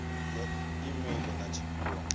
ya e meili na tshifhio